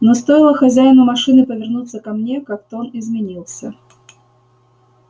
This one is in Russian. но стоило хозяину машины повернуться ко мне как тон изменился